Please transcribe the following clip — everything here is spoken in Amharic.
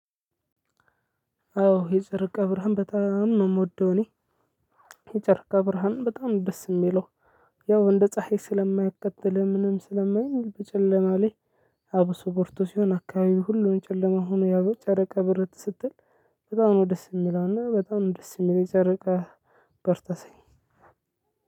አዎ የጨርቅ ብርሃን በጣም ነው የምወደው። እኔ የጨርቀ ብርሃን በጣም ደስ የሚለው ያው እንደ ፀሀይ ስለማያቃጥል ምንም ስለማይል በጨለማ ላይ አብሶ በርቶ ሲሆን አካባቢው ሁሉን ጨለማ ሆኖ ያው ጨረቀ ብርት ስትል በጣም ነው ደስ የሚለውና በጣም ደስ የሚለው ጨረቃ። በርቶ ሳይ